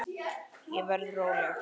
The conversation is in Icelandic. Ég verð róleg.